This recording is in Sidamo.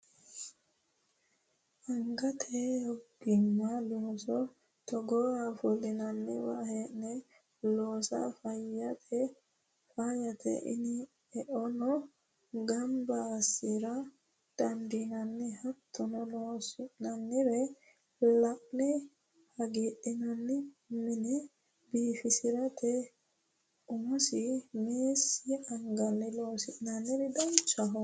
Angate ogima looso togooha ofolinonniwa hee'ne loossa faayyate eono gamba assira dandiinanni hattono loonsonnire la'ne hagiidhinanni mine biifisirate umosi meessi anganni loosi'ne danchaho.